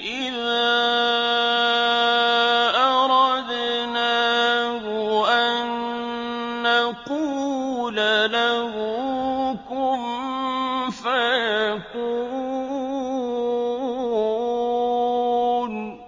إِذَا أَرَدْنَاهُ أَن نَّقُولَ لَهُ كُن فَيَكُونُ